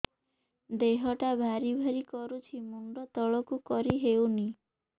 ଦେହଟା ଭାରି ଭାରି କରୁଛି ମୁଣ୍ଡ ତଳକୁ କରି ହେଉନି